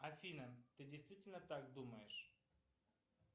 афина ты действительно так думаешь